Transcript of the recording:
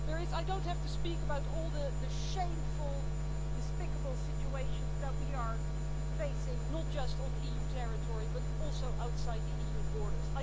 I don't need to speak about all the shameful and despicable situations that we are facing, not just on EU territory but also outside the EU's borders.